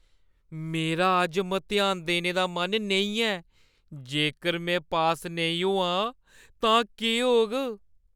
मेरा अज्ज मतेहान देने दा मन नेईं ऐ। जेकर में पास नेईं होआ तां केह् होग?